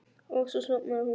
Og svo sofnaði hún.